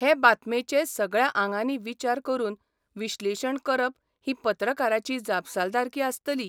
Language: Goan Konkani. हे बातेमेचें सगळ्या आंगांनी विचार करून विश्लेशण करप ही पत्रकाराची जापसालदारकी आसतली.